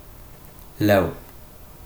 Lev.